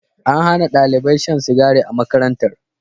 An Hana ɗalibai shan sigari a makarantar